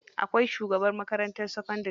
Akwai shugaban makarantar sakandari.